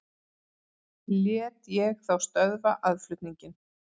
Lét ég þá stöðva aðflutninginn.